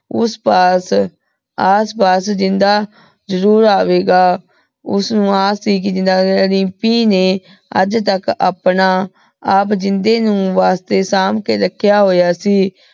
ਓਸ ਪਾਸ ਆਸ ਪਾਸ ਜਿੰਦਾ ਜ਼ਰੁਰ ਅਵੇ ਗਾ ਓਸਨੂ ਆਸ ਸੀ ਕੀ ਜਿਵੇਂ ਦਿਮ੍ਪੀ ਨੇ ਆਜ ਤਕ ਆਪਣਾ ਜਿੰਦੇ ਨੂ ਵਾਸਤੇ ਸੰਭ ਕੇ ਰਖ੍ਯਾ ਹੋਯਾ ਸੀ